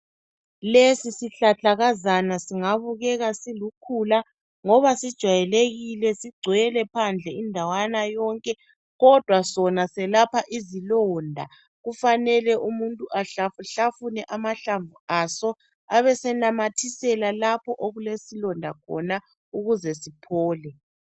Lesisihlahlakazana singabukeka silukhula ngoba sijwayelekile sigcwele phandle indawana yonke kodwa sona selapha izilonda. Kufanele umuntu ahlafuhlafune amahlamvu aso abesenamathisela lapho okulesilonda khona ukuze siphele.